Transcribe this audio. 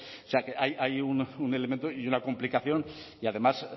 o sea que hay un elemento y una complicación y además